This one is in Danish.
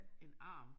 En arm